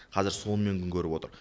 қазір сонымен күн көріп отыр